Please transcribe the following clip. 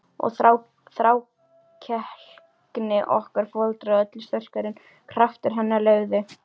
Og þrákelkni okkar foreldranna öllu sterkari en kraftar hennar leyfðu.